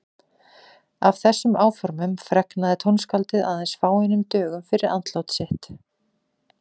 Af þessum áformum fregnaði tónskáldið aðeins fáeinum dögum fyrir andlát sitt.